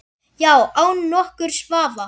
Já, án nokkurs vafa.